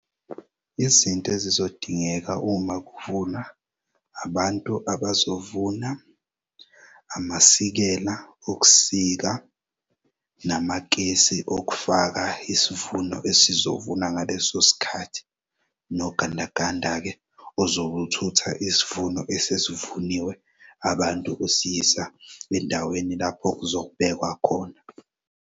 Izinto ezizodingeka uma kuvunwa, abantu abazovuna, amasikela okusika, namakesi okufaka isuvuno esizovunwa ngaleso sikhath,i nogandaganda-ke ozobuthutha isivuno esesivuniwe abantu sebesiyisa endaweni lapho kuzokubekwa khona.